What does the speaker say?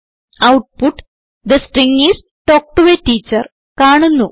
output the string is talk to A teacher കാണുന്നു